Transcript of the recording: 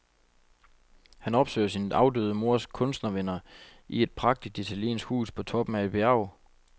Han opsøger sin afdøde mors kunstnervenner i et prægtigt italiensk hus på toppen af et bjerg.